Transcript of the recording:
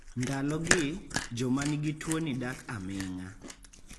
Ndalogi, joma nigi tuwoni dak aming'a.